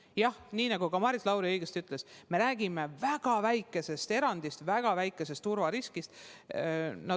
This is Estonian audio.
Jah, nii nagu ka Maris Lauri õigesti ütles, me räägime väga väikesest erandist, väga väikesest turvariskist.